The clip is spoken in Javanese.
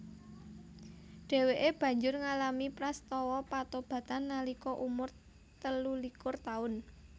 Dhèwèké banjur ngalami prastawa patobatan nalika umur telulikur taun